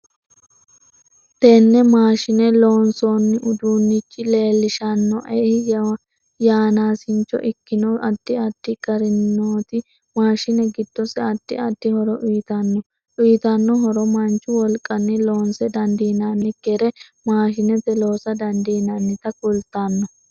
Tenne maashine loonsooni uduunichi leelishanoei yanaasincho ikkino addi adfi garinioti mashi giddose addi addi horo uyiitanno uyiitanno horo manchu wolqqani loonse dandiinanikire mashinete loosa dandiinanita kultanno